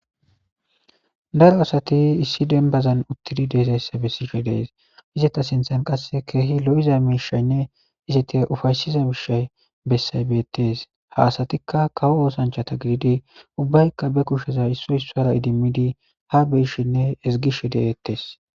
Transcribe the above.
daro asati issi denbazan uttidi deezayssa bessishshe de'ees izeta sinththan qasse ke'hi lo'iza miishshaynne izatia ufaysiza miishshay bessay bettees ha assatikka kawo oosanchata gididi ubbaykka be kushsheza issoy issara idimmidi ha be'ishshenne ezigishshe de'ettees